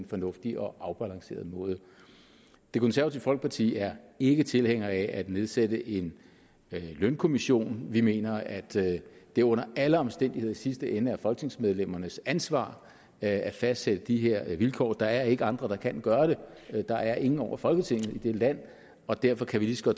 fornuftig og afbalanceret måde det konservative folkeparti er ikke tilhænger af at nedsætte en lønkommission vi mener at det under alle omstændigheder i sidste ende er folketingsmedlemmernes ansvar at fastsætte de her vilkår der er ikke andre der kan gøre det der er ingen over folketinget i dette land og derfor kan vi lige så